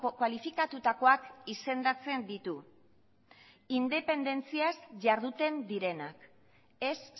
kualifikatutakoak izendatzen ditu indepentziaz jarduten direnak ez